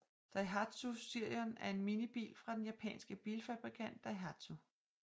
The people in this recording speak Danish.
Daihatsu Sirion er en minibil fra den japanske bilfabrikant Daihatsu